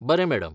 बरें मॅडम.